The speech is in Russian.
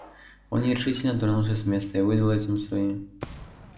он нерешительно тронулся с места и выдал этим свои